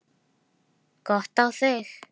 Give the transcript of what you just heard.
Gott á þig.